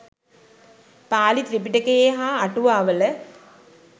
පාලි ත්‍රිපිටකයේ හා අටුවාවල